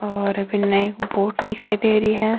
और बिन एक बोट दिखाई दे रही है।